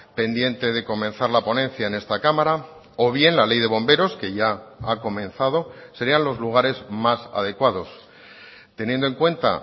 pendiente de comenzar la ponencia en esta cámara o bien la ley de bomberos que ya ha comenzado serían los lugares más adecuados teniendo en cuenta